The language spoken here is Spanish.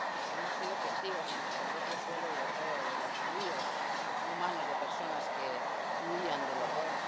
Hemos sido testigos en nuestro propio suelo europeo de los ríos humanos de personas que huían del horror.